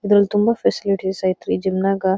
ಇದರಲ್ಲಿ ತುಂಬಾ ಫ್ಯಾಸಿಲಿಟೀಸ್ ಐತ್ರಿ ಜಿಮ್ ನ್ಯಾಗ.